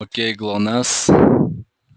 к кому пришла красавица